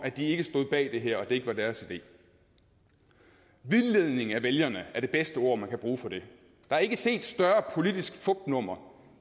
de ikke stod bag det her og at det ikke var deres idé vildledning af vælgerne er det bedste ord man kan bruge for det der er ikke set større politisk fupnummer